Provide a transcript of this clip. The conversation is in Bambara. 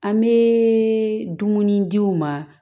An bɛ dumuni di u ma